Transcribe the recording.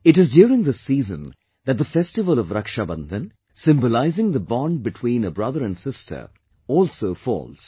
It is during this season that the festival of Raksha Bandhan symbolizing the bond between a brother and sister also falls